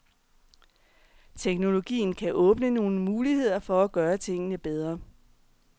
Teknologien kan åbne nogle muligheder for at gøre tingene bedre.